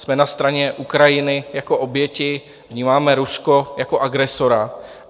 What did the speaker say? Jsme na straně Ukrajiny jako oběti, vnímáme Rusko jako agresora.